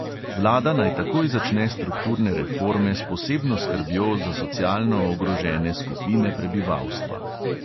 Vlada naj takoj začne strukturne reforme s posebno skrbjo za socialno ogrožene skupine prebivalstva.